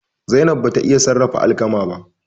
Zainab bata iya sarrafa alkama ba.